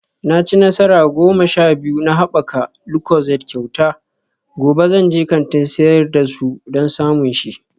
Na ci nasara goma sha biyu na haɓaka lucozade kyauta, gobe zan je kantin sayar da su don samun shi